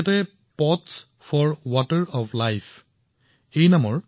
তেওঁ pots for water of life নামৰ এটা প্ৰকল্প আৰম্ভ কৰিছে